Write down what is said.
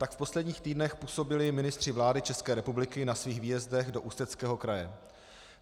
Tak v posledních týdnech působili ministři vlády České republiky na svých výjezdech do Ústeckého kraje.